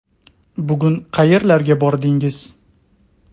Bugun qayerlarga bordingiz?